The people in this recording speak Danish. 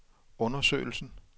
undersøgelsen